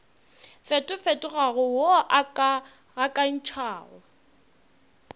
fetofetogago wo o ka gakantšhago